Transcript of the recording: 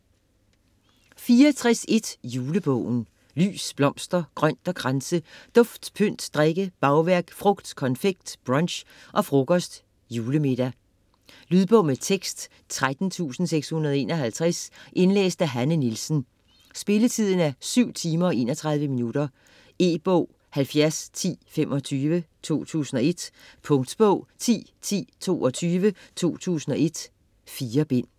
64.1 Julebogen Lys, blomster, grønt og kranse, dufte, pynt, drikke, bagværk, frugt, konfekt, brunch og frokost, julemiddag. Lydbog med tekst 13651 Indlæst af Hanne Nielsen Spilletid: 7 timer, 31 minutter. E-bog 701025 2001. Punktbog 101022 2001. 4 bind.